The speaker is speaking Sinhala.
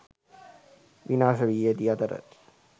විනාශ වී ඇති අතර